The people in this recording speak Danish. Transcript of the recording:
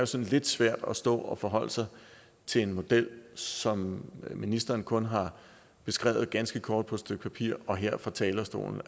sådan lidt svært at stå og forholde sig til en model som ministeren kun har beskrevet ganske kort på et stykke papir og her fra talerstolen